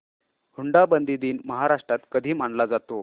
हुंडाबंदी दिन महाराष्ट्रात कधी मानला जातो